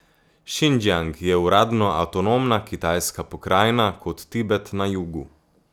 Šindžjang je uradno avtonomna kitajska pokrajina, kot Tibet na jugu.